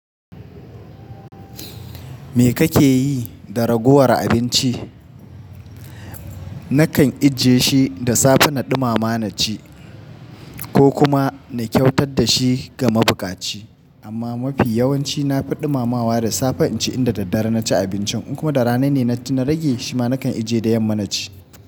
Me kake yi da ragowar abinci? Nakan ijje shi da safe na ɗumama na ci ko kuma na kyautar da shi ga mabukaci. Amma mafi yawanci na faɗi mamawa da safe in ci inda daddare na ci abincin. In kuma rana ne na na rage, shima nakan ije da yamma na ci.